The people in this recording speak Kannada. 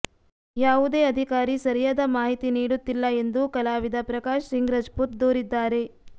ಯಾವುದೇ ಅಧಿಕಾರಿ ಸರಿಯಾದ ಮಾಹಿತಿ ನೀಡುತ್ತಿಲ್ಲ ಎಂದು ಕಲಾವಿದ ಪ್ರಕಾಶಸಿಂಗ್ ರಜಪೂತ ದೂರಿದ್ದಾರೆ